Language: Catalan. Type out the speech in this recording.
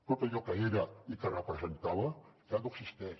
tot allò que era i que representava ja no existeix